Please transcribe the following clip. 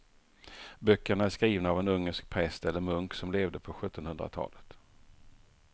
Böckerna är skrivna av en ungersk präst eller munk som levde på sjuttonhundratalet.